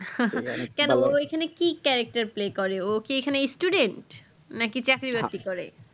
কেন গো এখানে কি charector play করে ওকি এখানে students নাকি চাকরি বাকরি করে